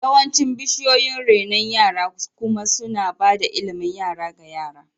Yawancin cibiyoyin renon yara kuma suna ba da ilimin yara ga yara.